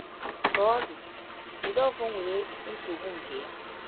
Ka ọ dị, Jideofor nwere nsogbu nke ya.